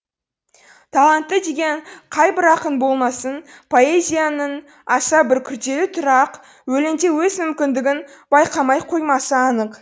талантты деген қайбір ақын болмасын поэзияның аса бір күрделі түрі ақ өлеңде өз мүмкіндігін байқамай қоймасы анық